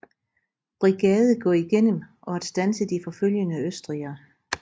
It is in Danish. Brigade gå igennem og at standse de forfølgende østrigere